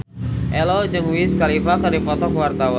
Ello jeung Wiz Khalifa keur dipoto ku wartawan